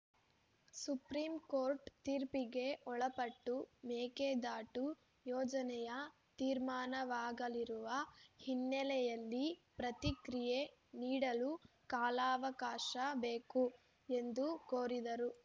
supreme Court ತೀರ್ಪಿಗೆ ಒಳಪಟ್ಟು ಮೇಕೆದಾಟು ಯೋಜನೆಯ ತೀರ್ಮಾನವಾಗಲಿರುವ ಹಿನ್ನೆಲೆಯಲ್ಲಿ ಪ್ರತಿಕ್ರಿಯೆ ನೀಡಲು ಕಾಲಾವಕಾಶ ಬೇಕು ಎಂದು ಕೋರಿದರು